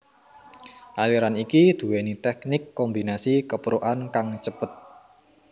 Aliran iki duwéni teknik kombinasi keprukan kang cepet